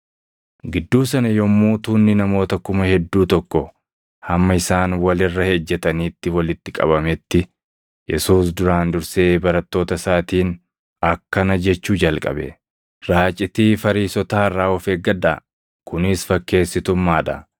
Gidduu sana yommuu tuunni namoota kuma hedduu tokko hamma isaan wal irra ejjetanitti walitti qabametti, Yesuus duraan dursee barattoota isaatiin akkana jechuu jalqabe; “Raacitii Fariisotaa irraa of eeggadhaa; kunis fakkeessitummaa dha.